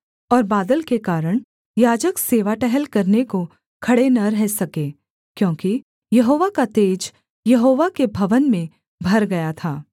और बादल के कारण याजक सेवा टहल करने को खड़े न रह सके क्योंकि यहोवा का तेज यहोवा के भवन में भर गया था